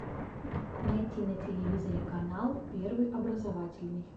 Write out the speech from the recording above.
найти на телевизоре канал первый образовательный